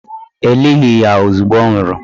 E lighi ya ozugbo ọ nwụrụ